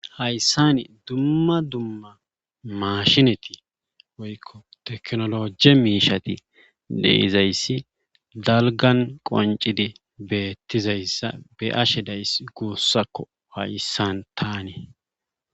Hayssani dumma dumma maashineti woykko teknolojie miishati deizayssi dalgan qoncidi beettizayssa be ashe days guussakko hayssan tanee.